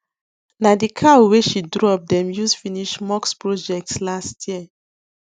na the cow wey she drop dem use finish mosque project last year